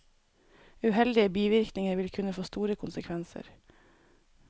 Uheldige bivirkninger vil kunne få store konsekvenser.